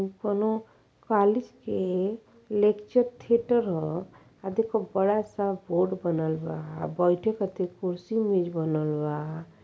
उ कोनो कालेज के लेक्चर थिएटर ह आ देख बड़ा सा बोर्ड बनल बा। बैठे कहतिर कुर्सी मेज़ बनल बा।